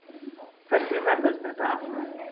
Hvernig verður þetta allt?